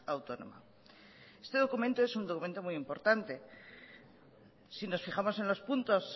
autónoma este documento es un documento muy importante si nos fijamos en los puntos